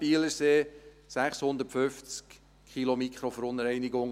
Bielersee: 650 Kilogramm Mikroverunreinigungen.